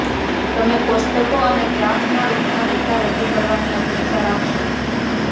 તમે કોષ્ટકો અને ગ્રાફના રૂપમાં ડેટા રજૂ કરવાની અપેક્ષા રાખશો